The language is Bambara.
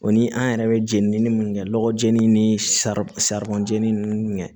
O ni an yɛrɛ bɛ jeni mun kɛ lɔgɔ jeni ni sari saribɔn jenini ninnu kɛ